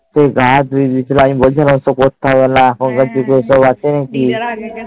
দিয়ে সেই গা দিয়েছিলাম বলছিলাম আর করিসনা এখুন কার দিনে ওসব আছে নাকি